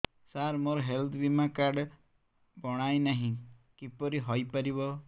ସାର ମୋର ହେଲ୍ଥ ବୀମା କାର୍ଡ ବଣାଇନାହିଁ କିପରି ହୈ ପାରିବ